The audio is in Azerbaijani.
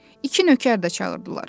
İki nökər də çağırdılar.